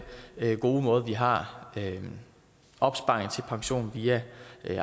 gode måde hvorpå vi har opsparing til pensionen via